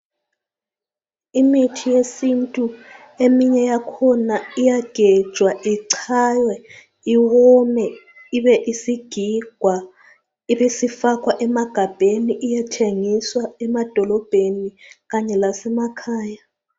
Imithi yesintu eminye yakhona iyagejwa ichaywe iwome ibe isigigwa ibisifakwa emagabheni iyethengiswa emadolobheni Kanye lasemakhaya.